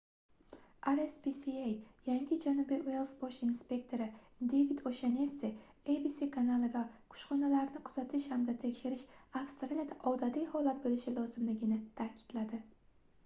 rspca yangi janubiy uels bosh inspektori devid oʻshannessi abc kanaliga kushxonalarni kuzatish hamda tekshirish avstraliyada odatiy holat boʻlishi lozimligini taʼkidladi